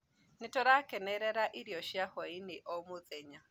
Nĩtũrakenera irio cia hwainĩ o mũthenya